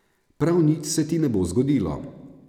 Prav nič se ti ne bo zgodilo.